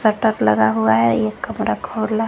Posters लगा हुआ है एक कमरा खुला है।